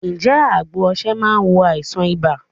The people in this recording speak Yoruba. Ǹ jé àgbo osè máa n wo àìsàn ibà